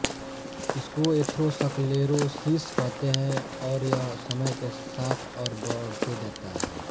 इसको एथ्रोसक्लेरोसिस कहते हैं और यह समय के साथ और बढते जाता है